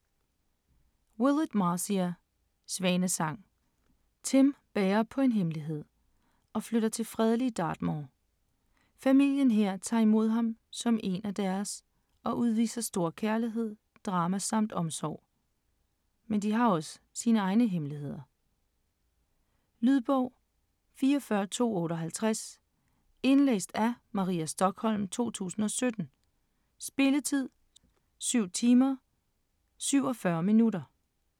Willett, Marcia: Svanesang Tim bærer på en hemmelighed og flytter til fredelige Dartmoor. Familien her tager imod ham som én af deres og udviser stor kærlighed, drama samt omsorg. Men de har også sine egne hemmeligheder. Lydbog 44258 Indlæst af Maria Stokholm, 2017. Spilletid: 7 timer, 47 minutter.